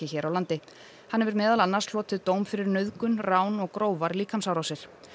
hér á landi hann hefur meðal annars hlotið dóm fyrir nauðgun rán og grófar líkamsárásir